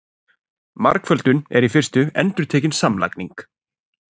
Margföldun er í fyrstu endurtekin samlagning.